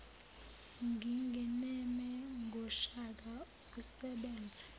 ngingeneme ngoshaka usebenze